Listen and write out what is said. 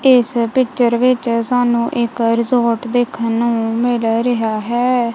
ਇਸ ਪਿਕਚਰ ਵਿੱਚ ਸਾਨੂੰ ਇੱਕ ਰਿਜੋਰਟ ਦੇਖਣ ਨੂੰ ਮਿਲ ਰਿਹਾ ਹੈ।